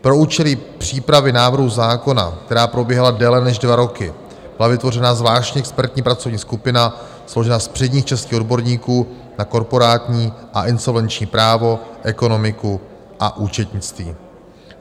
Pro účely přípravy návrhu zákona, která probíhala déle než dva roky, byla vytvořena zvláštní expertní pracovní skupina složená z předních českých odborníků na korporátní a insolvenční právo, ekonomiku a účetnictví.